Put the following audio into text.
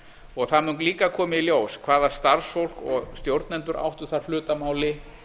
og það mun líka koma í ljós hvaða starfsfólk og stjórnendur áttu þar hefur að máli